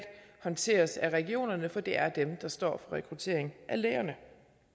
håndteres af regionerne for det er dem der står rekruttering af lægerne